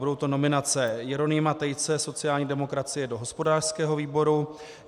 Budou to nominace Jeronýma Tejce, sociální demokracie, do hospodářského výboru.